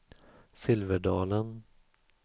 Silverdalen